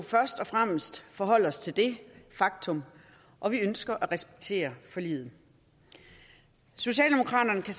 først og fremmest forholde os til det faktum og vi ønsker at respektere forliget socialdemokraterne kan